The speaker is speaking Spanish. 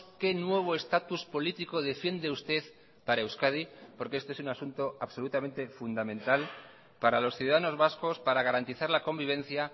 qué nuevo estatus político defiende usted para euskadi porque este es un asunto absolutamente fundamental para los ciudadanos vascos para garantizar la convivencia